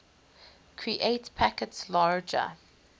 create packets larger